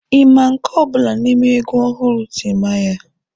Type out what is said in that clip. Ị ma nke ọ bụla n'ime egwu ọhụrụ Timaya?